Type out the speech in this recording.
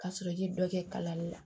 Ka sɔrɔ i ye dɔ kɛ kalan la